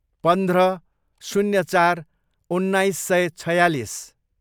पन्ध्र, शून्य चार, उन्नाइस सय छयालिस